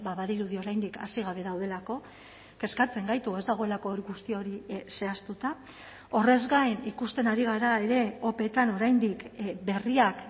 badirudi oraindik hasi gabe daudelako kezkatzen gaitu ez dagoelako guzti hori zehaztuta horrez gain ikusten ari gara ere opeetan oraindik berriak